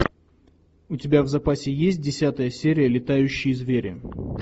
у тебя в запасе есть десятая серия летающие звери